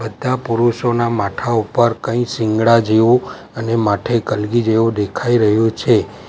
બધા પુરુષોના માથા ઉપર કઈ શીંગડા જેવું અને માથે કલગી જેવું દેખાઈ રહ્યું છે.